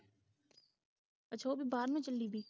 ਅੱਛਾ ਉਹ ਤੇ ਬਾਹਰ ਨੂੰ ਚਲੀ ਗਈ